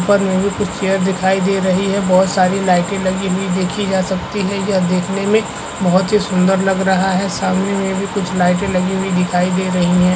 मुझे कोई चेयर दिखाई दे रही है बहोत सारी लाइटे लगी हुई देखी जा सकती है यह देखने में बहोत ही सुंदर लग रहा है सामने में भी कुछ लाइटे लगी हुई दिखाई दे रही है।